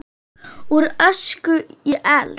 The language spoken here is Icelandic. Úr ösku í eld?